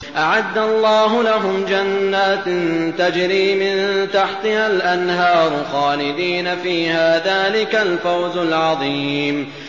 أَعَدَّ اللَّهُ لَهُمْ جَنَّاتٍ تَجْرِي مِن تَحْتِهَا الْأَنْهَارُ خَالِدِينَ فِيهَا ۚ ذَٰلِكَ الْفَوْزُ الْعَظِيمُ